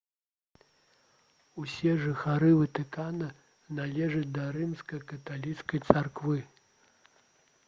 усе жыхары ватыкана належаць да рымска-каталіцкай царквы